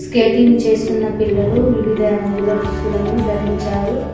Skating చేస్తున్న పిల్లలు వివిధ రంగుల దుస్తులను ధరించారు.